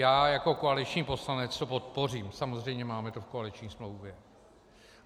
Já jako koaliční poslanec to podpořím, samozřejmě máme to v koaliční smlouvě.